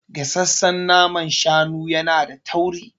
Gasassan naman shanu yana da tauri.